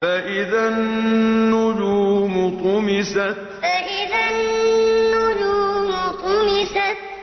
فَإِذَا النُّجُومُ طُمِسَتْ فَإِذَا النُّجُومُ طُمِسَتْ